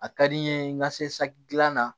A ka di n ye n ka se saki dilan na